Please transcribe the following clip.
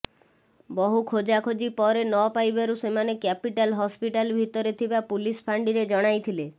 ବହୁ ଖୋଜା ଖୋଜି ପରେ ନ ପାଇବାରୁ ସେମାନେ କ୍ୟାପିଟାଲ ହସ୍ପିଟାଲ ଭିତରେ ଥିବା ପୁଲିସ ଫାଣ୍ଡିରେ ଜଣାଇଥିଲେ